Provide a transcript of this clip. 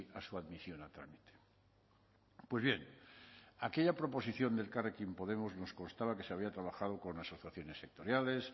a su admisión a trámite pues bien aquella proposición de elkarrekin podemos nos constaba que se había trabajado con asociaciones sectoriales